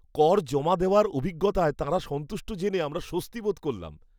কর জমা দেওয়ার অভিজ্ঞতায় তাঁরা সন্তুষ্ট জেনে আমরা স্বস্তি বোধ করলাম।